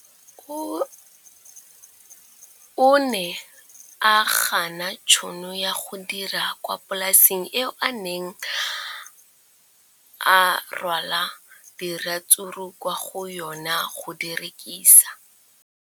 O ne a gana tšhono ya go dira kwa polaseng eo a neng rwala diratsuru kwa go yona go di rekisa.